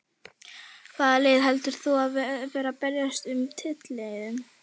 Hvaða lið heldur þú að verði að berjast um titilinn?